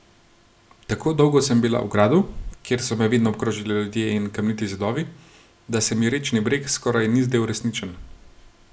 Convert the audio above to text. Tako dolgo sem bila v gradu, kjer so me vedno obkrožali ljudje in kamniti zidovi, da se mi rečni breg skoraj ni zdel resničen.